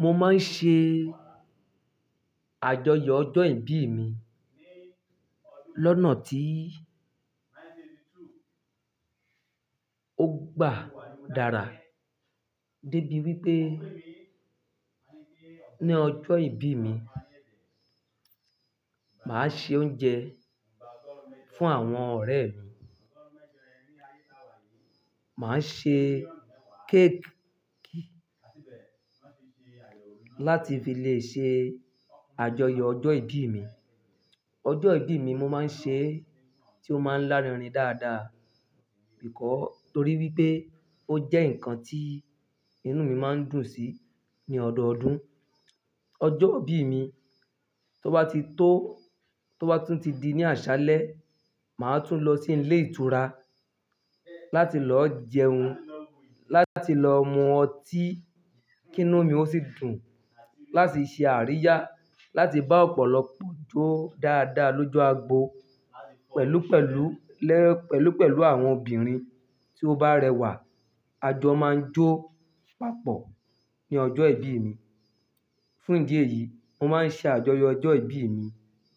Mo máa ń ṣe àjọyọ̀ ọjọ́ ìbí mi lọ́nà tí ó gbà dára, débi wípé ní ọjọ́ ìbí mi, màá se oúnjẹ fún àwọn ọ̀rẹ́ mi. Màá ṣe cake tí n bá dé tí e lè ṣe àjọyọ̀ ọjọ́ ìbí mi, ọjọ́ ìbí mi, mo ma ń ṣe, tó ma ń lárinrin dáadáa, nítorí wípé ó jẹ ǹkan tí inú mi ma ń dùn sí ní ọdọọdún. Ọjọ́ ìbí mi tó bá ti tó, tó bá tún ti di ní àṣálẹ́, màá tún lọ sí ilé ìtura láti lọ jẹun, láti lọ mu ọtí kí inú mi ó sì dùn, láti ṣe àríyá, láti bá ọ̀pọ̀lọpọ̀ jó dáadáa lójú agbo pẹ̀lúpẹ̀lú, lẹ́, pẹ̀lúpẹ̀lú àwọn obìnrin tí ó bá rẹwà. Àjọ máa ń jó papọ̀ ní ọjọ́ ìbí mi. Fún ìdí èyí, mo máa ń ṣe àjọyọ̀ ọjọ́ ìbí mi